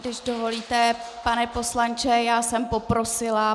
Když dovolíte, pane poslanče, já jsem poprosila.